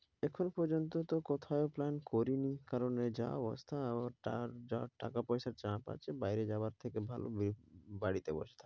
এখন পর্যন্ত তো কোথাও plan করিনি কারণ যা অবস্থা টাকা পয়সা যা পাচ্ছি বাইরে যাওয়ার থেকে ভাল ব~বাড়ীতে বসা।